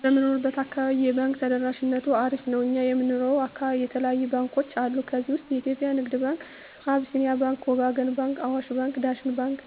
በምንኖረው አካባቢ የባንክ ተደራሽነቱ አሪፍ ነው እኛ የምንኖረው አካባቢ የተለያዩ ባንኮች አሉ ከዚህ ውስጥ የኢትዮጵያ ንግድ ባንክ አቢስኒያ ባንክ ወጋገን ባንክ አዋሽ ባንክ ዳሽን ባንክ